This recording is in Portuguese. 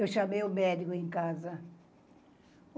Eu chamei o médico em casa.